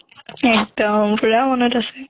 এক্দম পুৰা মনত আছে।